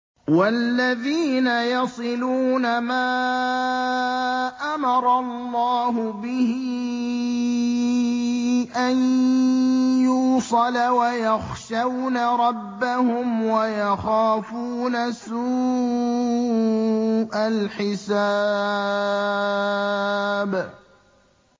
وَالَّذِينَ يَصِلُونَ مَا أَمَرَ اللَّهُ بِهِ أَن يُوصَلَ وَيَخْشَوْنَ رَبَّهُمْ وَيَخَافُونَ سُوءَ الْحِسَابِ